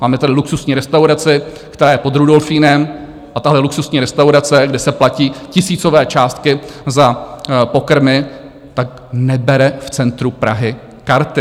Máme tady luxusní restaurace, která je pod Rudolfinem, a tahle luxusní restaurace, kde se platí tisícové částky za pokrmy, tak nebere v centru Prahy karty!